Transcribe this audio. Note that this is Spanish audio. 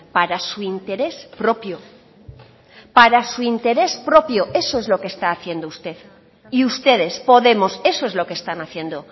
para su interés propio para su interés propio eso es lo que está haciendo usted y ustedes podemos eso es lo que están haciendo